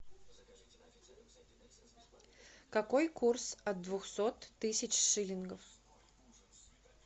какой курс от двухсот тысяч шиллингов